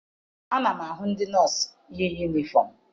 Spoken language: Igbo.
Ana m ahụ ndị nọọsụ yi yunifọm.